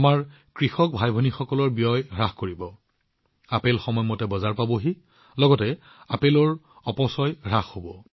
ই আমাৰ কৃষক ভাইভনীসকলৰ ব্যয় হ্ৰাস কৰিব আপেল সময়মতে বজাৰত উপস্থিত হব আপেলৰ অপচয় কম হব